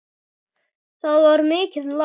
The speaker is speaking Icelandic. Það var mikið lán.